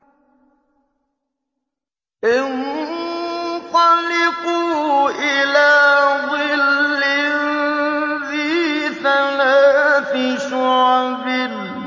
انطَلِقُوا إِلَىٰ ظِلٍّ ذِي ثَلَاثِ شُعَبٍ